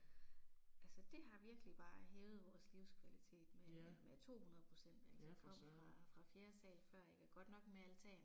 Altså det har virkelig bare hævet vores livskvalitet med med 200 procent altså vi kom fra fra fjerde sal før ik og godt nok med altan